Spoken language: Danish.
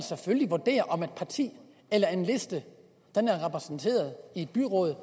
vurderer om et parti eller en liste er repræsenteret i et byråd